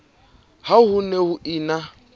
ha ho ne ho ena